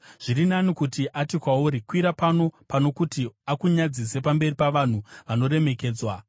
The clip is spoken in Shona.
Zviri nani kuti ati kwauri, “Kwira pano,” pano kuti akunyadzise pamberi pavanhu vanoremekedzwa.